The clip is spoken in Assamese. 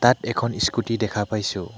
ইয়াত এখন ইস্কুটি দেখা পাইছোঁ।